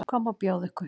Hvað má bjóða ykkur?